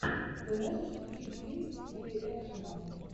ты можешь включить фильм в стиле экшена